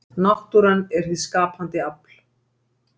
náttúran er hið skapandi afl